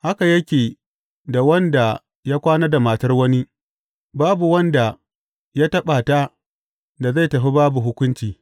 Haka yake da wanda ya kwana da matar wani; babu wanda ya taɓa ta da zai tafi babu hukunci.